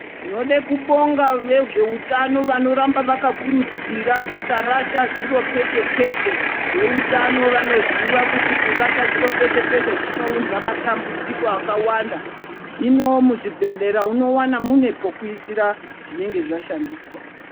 Tinode kubonga vezveutano varamba vakakurudzira kusarasha zviro peshe peshe, veutano vanoziva kuti kurashwa zviro peshe peshe zvinounza matambudziko akawanda hino muzvibhedhlera unowana mune pokuisira zvinenge zvashandiswa.